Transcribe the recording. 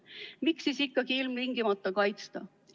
Miks siis ikkagi ilmtingimata kaitsta?